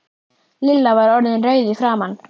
Lilla var orðin rauð í framan.